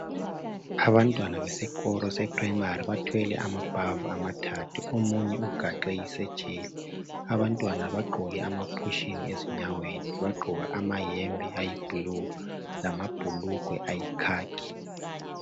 Abantwana besikolo seprayimari bathwele amabhavu amathathu. Omunye ugaxe isetsheli. Abantwana bagqoke amaphushini ezinyaweni, bagqoka amayembe ayiblu lamabhulugwe ayikhakhi.